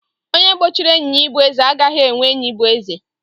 Onye gbochiri enyi ya ịbụ eze, agaghị enwe enyi bụ eze